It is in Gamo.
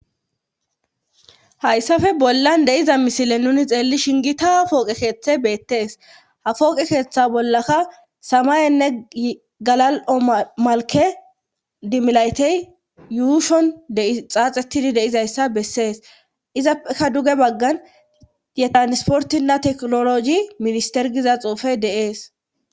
Hayssafe bollan deiza misile nuni xeelli shingita pooqekeeththe beettees ha kooqekeeththa bollaka samayenne galal7o malke dimlaytey yuushon dxaaxettidi deizayssa bessees izappeka duge baggan yetanisportinna teknologi ministergiza xuufey de7ees.